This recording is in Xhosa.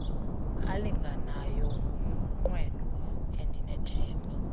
alinganayo ngumnqweno endithemba